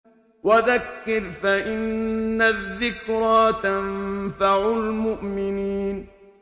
وَذَكِّرْ فَإِنَّ الذِّكْرَىٰ تَنفَعُ الْمُؤْمِنِينَ